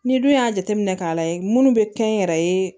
N'i dun y'a jateminɛ k'a layɛ munnu be kɛ n yɛrɛ ye